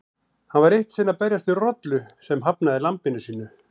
Hann var eitt sinn að berjast við rollu sem hafnaði lambinu sínu.